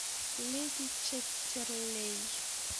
леди чаттерлей